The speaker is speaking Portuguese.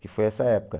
Que foi essa época.